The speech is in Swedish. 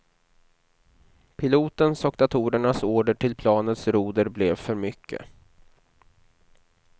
Pilotens och datorernas order till planets roder blev för mycket.